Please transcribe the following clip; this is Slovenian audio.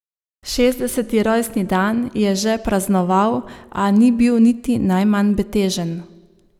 Šestdeseti rojstni dan je že praznoval, a ni bil niti najmanj betežen.